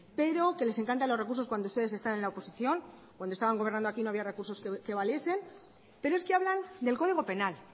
pero que les encanta los recursos cuando ustedes están en la oposición cuando ustedes estaban gobernando aquí no había recursos que valiesen pero es que hablan del código penal